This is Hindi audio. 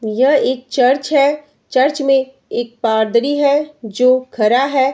यह एक चर्च है। चर्च में एक पादरी है जो खरा है।